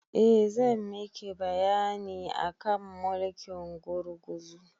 Eh zan miki bayani akan mulkin gurguzu